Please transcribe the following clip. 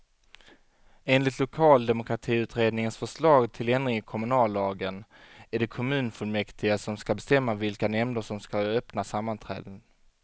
Enligt lokaldemokratiutredningens förslag till ändring i kommunallagen är det kommunfullmäktige som skall bestämma vilka nämnder som skall ha öppna sammanträden.